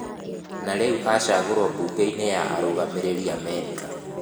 Na rĩu acagũrwo bunge-inĩ ya arũgamĩrĩri Amerika